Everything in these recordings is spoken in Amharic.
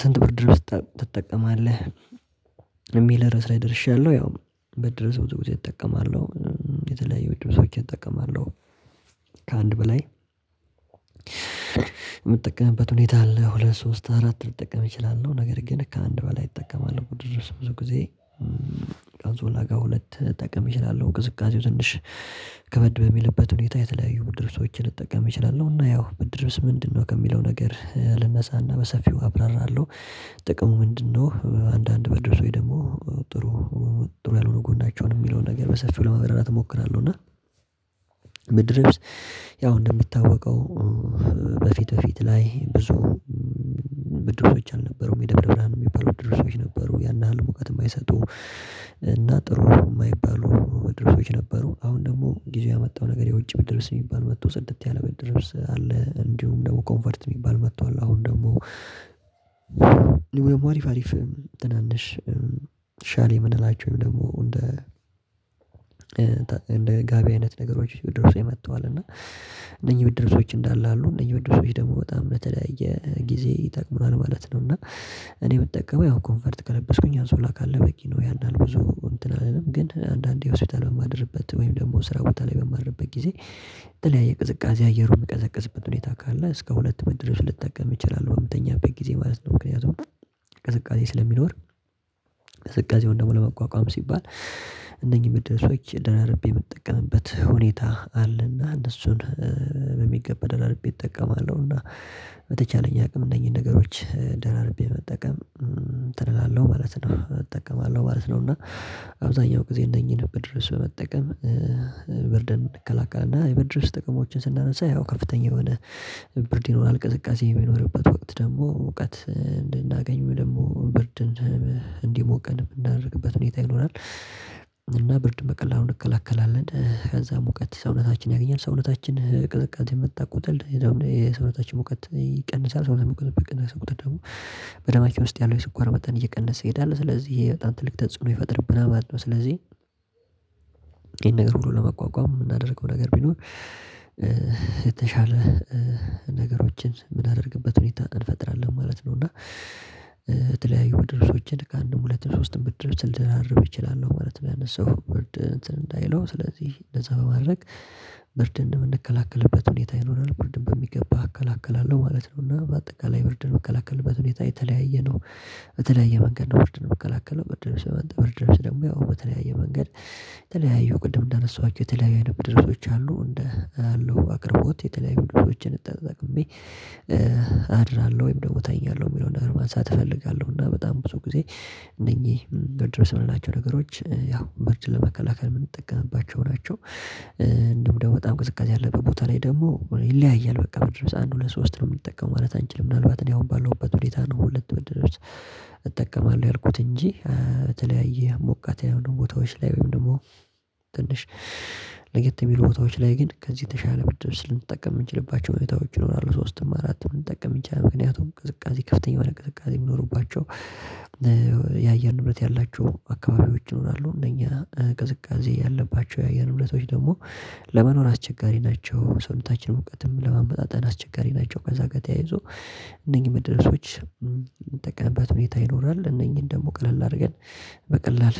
ስንት ብርድ ልብስ ጥ ትጠቀማለህ? የሚል ራስ ላይ ደርሻለሁ ያው ብርድልብስ ብዙ ጊዜ እጠቀማለሁ። የተለያየ ብርድ ልብሶችን እጠቀማለሁ። ከአንድ በላይ የምጠቀምበት ሁኔታ አለ። ሁለት ሶስት አራት ልጠቀም እችላለሁ ነገር ግን ከአንድ በላይ እጠቀማለሁ ብርድ ልብስ ብዙ ጊዜ። ከአነንሶላ ጋር ሁለት ልጠቀም እችላለሁ ቅዝቃዜው ትንሽ ከበድ በሚልበት ሁኔታ የተለያዩ ብድር ልብሶችን ልጠቀም እችላለሁ። እና ያው ብድር ልብስ ምንድን ነው ከሚለው ነገር ልነሳና በሰፊው አብራራለሁ። ጥቅሙ ምንድነው? አንዳንድ በርድ ልብስ ወይ ደግሞ ጥሩ ጥሩ ያልሆነ ጎናቸውን የሚለውን ነገር በሰፊው ለማብራራት እሞክራለሁ። እና ብርድ ልብስ ያው እንደሚታወቀው በፊት በፊት ላይ ብዙ ብርድ ልብሶች አልነበሩም። የደብረብርሀን የሚባለው ብርድ ልብሶች ነበሩ ያን ያህል ሙቀት የማይሰጡ እና ጥሩ የማይባሉ ብርድ ልብሶች ነበሩ። አሁን ደግሞ ጊዜው ያመጣው ነገር የውጭ ብድር ልብስ የሚባል መጦ ጽድት ያለ ብድር ልብስ አለ። እንዲሁም ደግሞ ኮንፎርት የሚባል መጥቷል። አሁን ደግሞ አሪፍ አሪፍ ትናንሽ ሻል የምንላቸውን ደግሞ እንደ እንደ ጋቢ አይነት ነገሮች ብድር ልብሶች መጠዋል እና እነኚህ ብድር ልብሶች እንዳለ አሉ እነኚህ ብርድ ልብሶች ደግሞ በጣም በተለያየ ጊዜ ይጠቅማል ማለት ነው። እና እኔ ምጠቀመው ያው ኮንፈርት ከለበስኩኝ አንሶላ ካለ በቂ ነው። ያንን ብዙ እንትን አልልም ግን አንዳንዴ ሆስፒታል በማድርበት ወይም ደግሞ ስራ ቦታ ላይ በማድርበት ጊዜ የተለያየ ቅዝቃዜ አየሩን ሚቀዘቅዝበት ሁኔታ ካለ እስከ ሁለት ብርድ ልብስ ልጠቀም እችላለሁ በምትተኛበት ጊዜ ማለት ነው። ምክንያቱም ቅዝቃዜ ስለሚኖር ቅዝቃዜውን ደግሞ ለመቋቋም ሲባል እነኚህን ብርድ ልብሶች ደራርቤ የምጠቀምበት ሁኔታ አለና እነሱን በሚገባ ደራርቤ እጠቀማለሁ። እና በተቻለኝ አቅም እነኚህን ነገሮች ደራርቤ መጠቀም እንትን እላለሁ ማለት ነው። እጠቀማለሁ ነው እና አብዛኛው ጊዜ እነኚህን ብርድ ልብስ በመጠቀም ብርድን እንከላከልና የበድርስ ልብስ ጥቅሞችን ስናነሳ ያው ከፍተኛ የሆነ ብርድ ይኖራል። ቅዝቃዜ በማይኖርበት ወቅት ደግሞ እውቀት እንድናገኝ ወይ ደግሞ ብርድን እንዲሞቀን ማናደርግበት ሁኔታ ይኖራል። እና ብርድ በቀላሉ እንከላከላለን ከዛ ሙቀት ሰውነታችን ያገኛል ሰውነታችን ቅዝቃዜ በመጣ ቁጥር የዛውም የሰውነታችን ሙቀት ይቀንሳል ሰውነት ሙቀት በቀነሰ ቁጥር ደግሞ በደማችን ውስጥ ያለው የስኳር መጠን እየቀነሰ ይሄዳል። ስለዚህ የጣም ትልቅ ተጽዕኖ ይፈጥርብናል ማለት ነው። ስለዚህ ይሄን ነገር ብሎ ለመቋቋም የምናደርገው ነገር ቢኖር የተሻለ ነገሮችን የምናደርግበትን ሁኔታ እንፈጥራለን ማለት ነው። እና የተለያዩ ብርድ ልብሶችን ከአንድም ሁለት እና ሶስት ብርድ ልብስ ልደራርብ እችላለሁ ማለት ነው። ያነሳኸው ብርድ እንትን እንትን እንዳይለው ስለዚህ እንደዛ በማድረግ ብርድ እንደምንከላከልበት ሁኔታ ይኖራል ብርድን በሚገባ አከላከላለሁ ማለት ነው። እና በአጠቃላይ ብርድ ምላከልበት ሁኔታ የተለያየ ነው በተለያየ መንገድ ነው ብርድን ምከላከለው ብርድልቦስ መጠበቅ ብርድ ልብስ ደግሞ ያው በተለያየ መንገድ የተለያየ ቅድም እንዳነሳኋቸው የተለያዩ አይነት ብርድ ልብሶች አሉ። እንደ አለው አቅርቦት የተለያዩ ብርድ ልብሶች ተጠቅሜ አድራለሁ ወይም ደግሞ እተኛለሁ የሚለውን ነገር ማንሳት እፈልጋለሁ እና በጣም ብዙ ጊዜ እነኚህ ብርድ ልብስ የምንላቸው ነገሮች ያው ብርድን ለመከላከል የምንጠቀምባቸው ናቸው። እንዲሁም ደግሞ በጣም ቅዝቃዜ ያለበት ቦታ ላይ ደግሞ ይለያያል በቃ ብርድ ልብስ አንድ ሁለት ሶስት ነው የሚጠቀመው ማለት አንችልም ምናልባት እኔ አሁን ባለውበት ሁኔታ አንድ ሁለት ብርድ ልብስ እጠቀማለሁ ያልኩት እንጂ በተለያየ ሞቃት ያልሆኑ ቦታዎች ላይ ወይም ደግሞ ትንሽ ለየት የሚሉ ቦታዎች ላይ ግን ከዚህ የተሻለ ብርድ ልብስ ልንጠቀም ልንችልባቸው ሁኔታዎች ይኖራሉ። ሶስትም አራትም ልንጠቀም ይችላል ምክንያቱም ቅዝቃዜ ከፍተኛ የሆነ ቅዝቃዜ የሚኖሩባቸው የአየር ንብረት ያላቸው አካባቢዎች ይሆናሉ እነኛ ቅዝቃዜ ያለባቸው የአየር ሁኔታዎች ደግሞ ለመኖር አስቸጋሪ ናቸው ሰውነታችን ሙቀትን ለማመጣጠን አስቸጋሪ ናቸው። ከዛ ጋር ተያይዞ እነኚህ ብርድ ልብሶች የምንጠቀምበት ሁኔታ ይኖራል እነኚህን ደግሞ ቀለል አድርገን በቀላል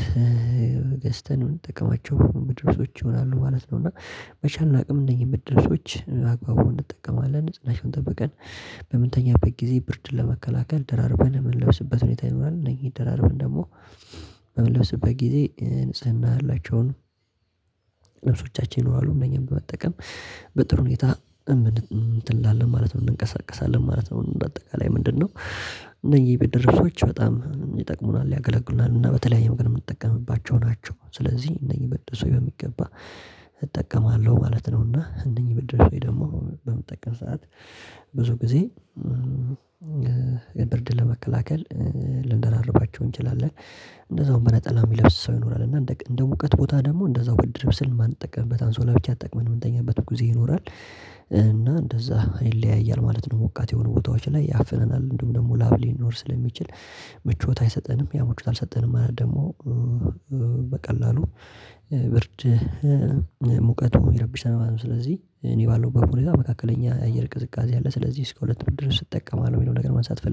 ገዝተን ምንጠቀማቸው ብርድ ልብሶች ይሆናሉ ማለት ነው። እና በቻልነው አቅም እነኚህ ብርድ ልብሶች በግባቡ እንጠቀማለን ንጽህናችን ጠብቀን በምንተኛበት ጊዜ ብርድን ለመከላከል ደራርበን የምንለብስበት ሁኔታ ይኖራል። እነኚህን ደራርበን ደግሞ በምንለብስበት ጊዜ ንጽህና ያላቸውን ብርድ ልብሶቻችን እነኚህን በመጠቀም በጥሩ ሁኔታ እምን እንትን ላለን ማለት እንንቀሳቀሳለን ማለት ነው። በአጠቃላይ ምንድነው? እነኚህ ብርድ ልብሶች በጣም ይጠቅሙናል ያገለግሉናል እና በተለያየ መልኩ የምንጠቀምባቸው ናቸው። ስለዚህ እነኚህ ብርድ ልብሶች በሚገባ እጠቀማለሁ ማለት ነው። እና እነኚህ ብርድ ልብሶች ደግሞ በመጠቀም ሰዓት ብዙ ጊዜ ብርድን ለመከላከል ልንደራረባቸው እንችላለን። እንደዛውም በነጠላ የሚለብስ ሰው ይኖራል እና እንደ እውቀት ቦታ ደግሞ እንደዛው ብርድ ልብስ ማንጠቀምበት አንሶላ ብቻ ተጠቅመን የምንተኛበት ጊዜ ይኖራል እና እንደዛ ይለያያል ማለት ነው። ሞቃት የሆኑ ቦታዎች ላይ ያፍነናል እንዲውም ደግሞ ላብ ሊኖር ስለሚችል ምቾት አይሰጠንም ያው ምቾት አልሰጠንም ማለት ደግሞ በቀላሉ ብርድ ሙቀቱ ይረብሻል ማለት ነው። ስለዚህ እኔ ባለሁበት ሁኔታ መካከለኛ የአየር ቅዝቃዜ አለ ስለዚህ እስከ ሁለት ብድር ስትጠቀም አለው የሚለውን ነገር ማንሳት ፈልግ